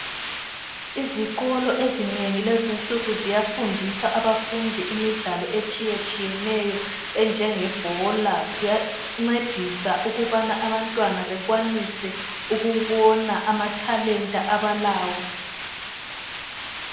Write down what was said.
Izikolo ezinengi lezi insuku ziyafundisa abafundi imidlalo etshiyatshiyeneyo enjengebhola ziyancedisa ukubana abantwana bekwanise ukubona amathalenta abalawo.